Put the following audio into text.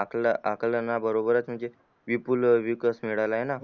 आकल आकलना बरोबर च म्हणजे विपुल विकास मिळायला ना